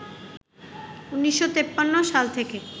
১৯৫৩ সাল থেকে